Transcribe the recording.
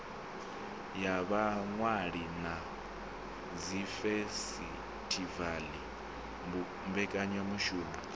ya vhaṅwali na dzifesitivala mbekanyamishumo